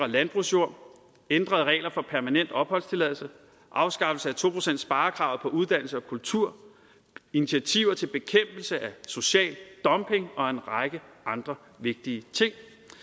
landbrugsjord ændrede regler for permanent opholdstilladelse afskaffelse af to procentssparekravet på uddannelse og kultur initiativer til bekæmpelse af social dumping og en række andre vigtige ting